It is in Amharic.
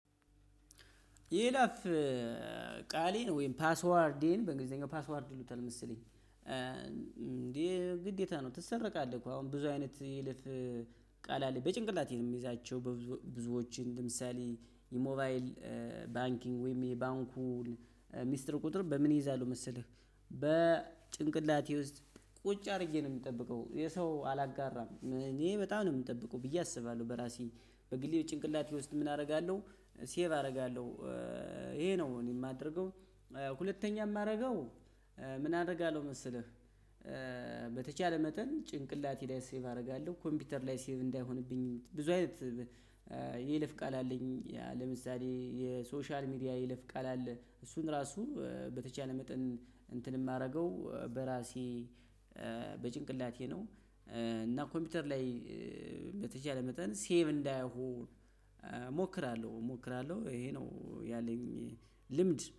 የይለፍ ቃሌን ወይም ፓስዋርዴን በእንግሊዘኛ ፓስዋርድ ይሉታል መሰሌኝ። ግዴታ ነው ትሰረቃለህ እኮ አሁን ብዙ አይነት ይልፍ ቃል አለ በጭንቅላቴ ነው ምይዛቸው። ብዙዎችን ለምሳሌ ሞባይል ባንኪንግ ወይም የባንኩን ሚስጥር ቁጥር በምን እይዛሉ መሰለህ በጭንቅላቴ ውስጥ ቁጭ አድርጌ ነው የምጠብቀው። የሰው አላጋራም እኔ በጣም ነው የምጠብቀው ብዬ አስባለሁ። በራሴ በግሌ ጭንቅላቴ ውስጥ ምን አደርጋለሁ ሴቭ አደርጋለሁ ይሄ ነው እኔ የማደርገው። ሁለተኛ የማደርገው ምን አደርጋለሁ መሰለህ? በተቻለ መጠን ጭንቅላቴ ላይ ሴቭ አደርጋለሁ ኮምፒውተር ላይ ሴቭ እንዳይሆንብኝ ብዙ አይነት። የይለፍ ቃል አለኝ ለምሳሌ የሶሻል ሚዲያ የይለፍ ቃል አለ። እሱን ራሱ በተቻለ መጠን እንትን የማደርገው በራሴ በጭንቅላቴ ነው። እና ኮምፒውተር ላይ በተቻለ መጠን ሴቭ እንዳይሆን እሞክራለሁ እሞክራለሁ ይሄ ነው ያለኝ ልምድ